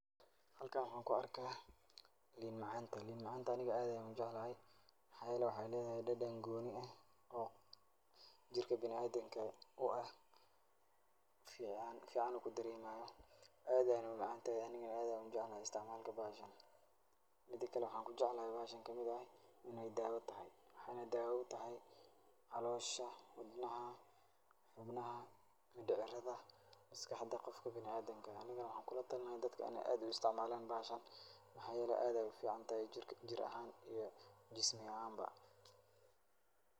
Hlakan waxa kuarka liin macan, lin macanta aniga aad ayan ujeclahay wayo wexey ledahay dadan gooni ah oo jirka biniadamka ufican aad ayeyna umacantahay aniga aad ujeclahay isiticmalkeda. Mida kale waxan kujeclahay bahashan iney dawo tahay, waxayna dawo utahay calosha, xubnaha, wadnaha, midicirada iyo maskaxda qofka biniadamka ah, aniga waxa kulatalin laha dad iney aad uisticmalan bahashan mxa yele aad ayey uficantahay jir ahaan iyo jismi ahaanba.